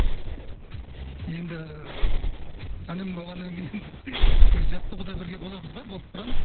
енді інім болғаннан кейін енді жоқ жаттығуда бірге боламыз ғой болып тұрамыз